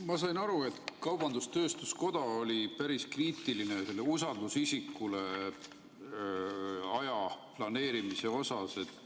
Ma sain aru, et kaubandus-tööstuskoda oli päris kriitiline usaldusisikule aja planeerimise osas.